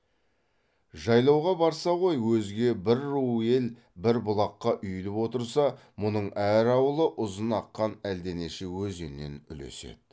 жайлауға барса ғой өзге бір ру ел бір бұлаққа үйіліп отырса мұның әр ауылы ұзын аққан әлденеше өзеннен үлеседі